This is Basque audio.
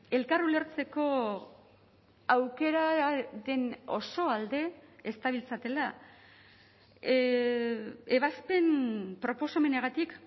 elkar ulertzeko aukeraren oso alde ez dabiltzatela ebazpen proposamenagatik